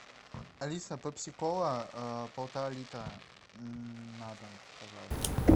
алиса пепси кола полтора литра на дом пожалуйста